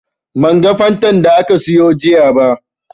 Ban ga Fantan da ka sayo jiya ba